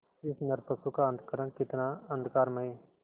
इस नरपशु का अंतःकरण कितना अंधकारमय